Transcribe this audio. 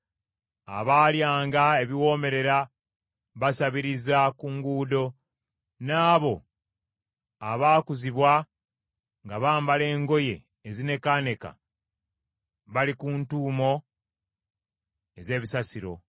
Abaalyanga ebiwoomerera basabiriza ku nguudo; n’abo abaakuzibwa ng’abambala engoye ezinekaaneka bali ku ntuumu ez’ebisasiro.